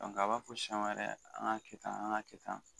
a b'a fɔ siman yɛrɛ an k'a kɛ tan an k'a kɛ tan